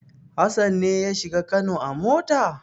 Hassan ne ya shiga Kano a mota?